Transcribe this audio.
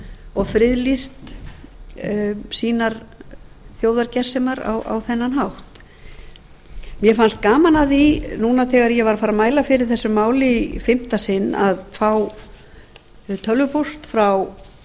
og friðlýst sínar þjóðargersemar á þennan hátt mér fannst gaman að því núna þegar ég var að fara að mæla fyrir þessu máli í fimmta sinn að fá tölvupóst frá